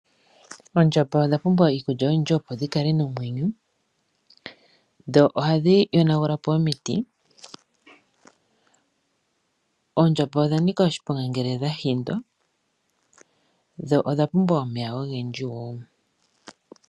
Oondjamba odha pumbwa iikulya oyendji opo dhikale nomwenyo . Oondjamba odhanika oshiponga oshoka ohadhi yonagula po omiti. Oondjamba odhanika oshiponga ngele dhahindwa dho odha pumbwa omeya ogendji gokunwa.